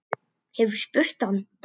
Hefurðu spurt hann?